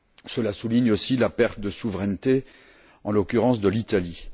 Cela souligne aussi la perte de souveraineté, en l'occurrence de l'Italie.